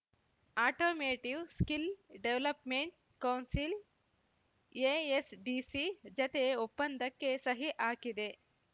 automotive skill development council ASDC ಜತೆ ಒಪ್ಪಂದಕ್ಕೆ ಸಹಿ ಹಾಕಿದೆ